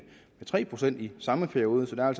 tre procent i samme periode så der er